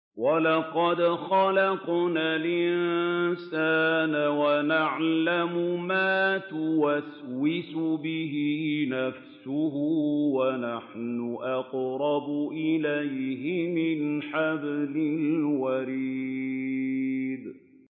وَلَقَدْ خَلَقْنَا الْإِنسَانَ وَنَعْلَمُ مَا تُوَسْوِسُ بِهِ نَفْسُهُ ۖ وَنَحْنُ أَقْرَبُ إِلَيْهِ مِنْ حَبْلِ الْوَرِيدِ